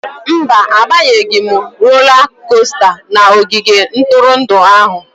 Mba, abanyeghị m rola kosta n'ogige ntụrụndụ ahụ.